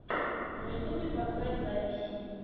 на ютьюбе поставь записи